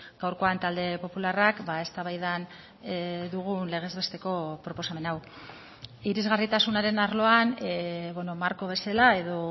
gaurkoan talde popularrak eztabaidan dugun legez besteko proposamen hau irisgarritasunaren arloan marko bezala edo